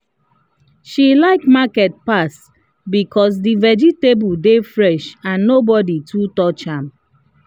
she like market pass because the vegetable dey fresh and nobody too touch am.